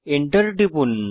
Enter টিপুন